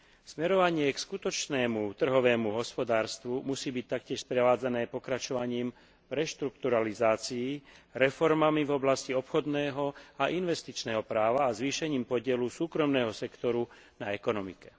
Smerovanie k skutočnému trhovému hospodárstvu musí byť taktiež sprevádzané pokračovaním reštrukturalizácií, reformami v oblasti obchodného a investičného práva a zvýšením podielu súkromného sektoru na ekonomike.